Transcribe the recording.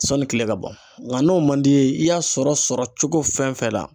Sɔni kile ka bɔ nka n'o man di ye i y'a sɔrɔ sɔrɔ cogo fɛn fɛn na